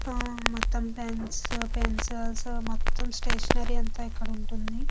ఆ మొత్తం pens pencils మొత్తం స్టేషనరీ అంత ఇక్కడ ఉంటుంది.